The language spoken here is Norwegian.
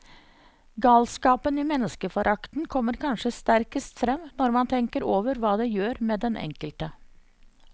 Galskapen i menneskeforakten kommer kanskje sterkest frem når man tenker over hva det gjør med den enkelte.